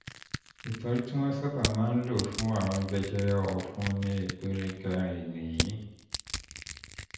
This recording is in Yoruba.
ìtọ́jú tí wọ́n sábà máa ń lò fún àrùn jẹjẹrẹ ọ̀fun ní ìpele kẹrin nìyí